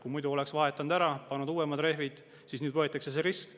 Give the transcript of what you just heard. Kui muidu oleks vahetatud ära, pandud uuemad rehvid, siis nüüd võetakse risk.